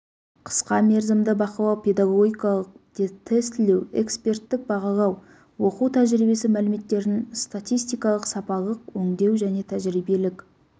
қысқа мерзімді бақылау педагогикалық тестілеу эксперттік бағалау оқу тәжірибесі мәліметтерін статистикалық-сапалық өңдеу және тәжірибелік